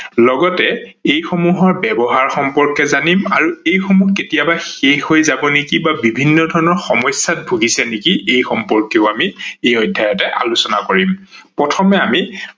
লগতে এই সমূহৰ ব্যৱহাৰ সম্পৰ্কে জানিম আৰু এই সমূহ কেতিয়াবা শেষ হৈ যাব নেকি বা বিভিন্ন ধৰনৰ সমস্যাত ভুগিছে নেকি এই সম্পৰ্কেও আমি এই অধ্যয়তে আলোচনা কৰিম। প্ৰথমে আমি